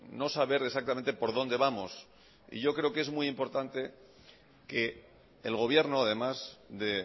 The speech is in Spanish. no saber exactamente por dónde vamos y yo creo que es muy importante que el gobierno además de